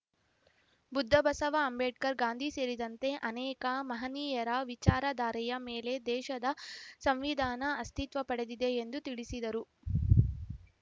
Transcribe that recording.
ಬುದ್ಧ ಬಸವ ಅಂಬೇಡ್ಕರ್‌ ಗಾಂಧಿ ಸೇರಿದಂತೆ ಅನೇಕ ಮಹನೀಯರ ವಿಚಾರಧಾರೆಯ ಮೇಲೆ ದೇಶದ ಸಂವಿಧಾನ ಅಸ್ತಿತ್ವ ಪಡೆದಿದೆ ಎಂದು ತಿಳಿಸಿದರು